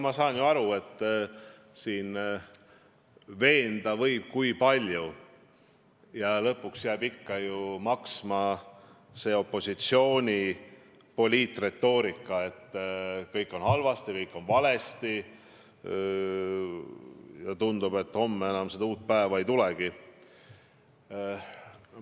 Ma saan ju aru, et siin võib püüda teid veenda kui palju, lõpuks jääb ikka kõlama opositsiooni poliitretoorika, et kõik on halvasti, kõik on valesti ja tundub, et homme enam uut päeva ei tulegi.